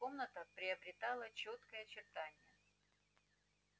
комната приобретала чёткие очертания